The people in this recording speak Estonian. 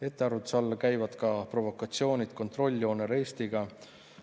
Ettearvamatuse alla käivad ka provokatsioonid kontrolljoonel Eestiga.